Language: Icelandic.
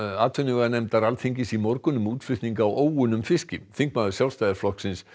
atvinnuveganefndar Alþingis í morgun um útflutning á óunnum fiski þingmaður Sjálfstæðisflokksins